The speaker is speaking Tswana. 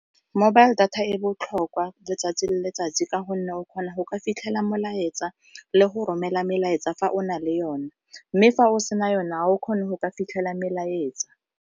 Mobile data e botlhokwa letsatsi le letsatsi ka gonne o kgona go ka fitlhela molaetsa le go romela melaetsa fa o na le yone mme fa o sena yone ga o kgone go ka fitlhela melaetsa.